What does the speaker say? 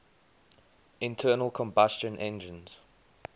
internal combustion engines